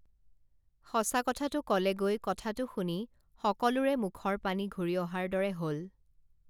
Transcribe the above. সঁচা কথাটো কলেগৈ কথাটো শুনি সকলোৰে মুখৰ পানী ঘুৰি অহাৰ দৰে হল